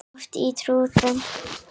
Oft á tíðum.